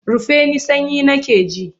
Rufe ni sanyi nake ji!